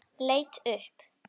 Leit upp.